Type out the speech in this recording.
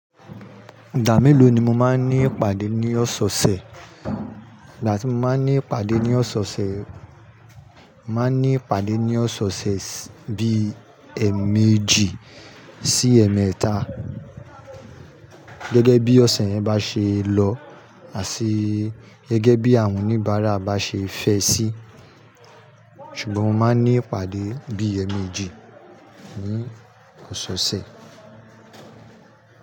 Ìgbà mélòó ni mo máa ń ní ìpàdé ní ọ̀sẹ̀ ọ̀sẹ̀? Ìgbà tí mo máa ń ní ìpàdé ní ọ̀sẹ̀ ọ̀sẹ̀, màá ní ìpàdé ní ọ̀sẹ̀ ọ̀sẹ̀ bí ẹẹ̀mẹ́jì sí ẹẹ̀mẹ́ta gẹ́gẹ́ bí ọ̀sẹ̀ yẹn bá ṣe lọ àti gẹ́gẹ́ bí àwọn oníbàárà bá ṣe fẹ́ sí. Ṣùgbọ́n mo máa ń ní ìpàdé bí ẹẹ̀mẹ́jì ní ọ̀sẹ̀ ọ̀sẹ̀.